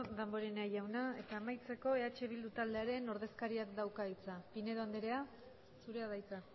damborenea jauna eta amaitzeko eh bildu taldearen ordezkariak dauka hitza pinedo anderea zurea da hitza